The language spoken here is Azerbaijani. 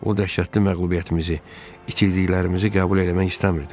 O dəhşətli məğlubiyyətimizi, itirdiklərimizi qəbul eləmək istəmirdim.